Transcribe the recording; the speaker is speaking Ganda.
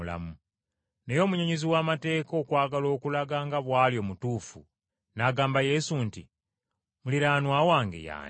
Naye omunnyonnyozi w’amateeka okwagala okulaga nga bw’ali omutuufu n’agamba Yesu nti, “Muliraanwa wange ye ani?”